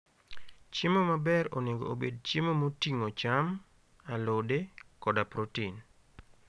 Chiemo maber onego obed chiemo moting'o cham, alode, koda protein.